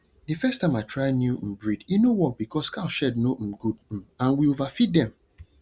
the first time i try new um breed e no work because cow shed no um good um and we overfeed dem